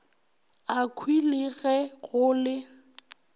akhwi le ge go le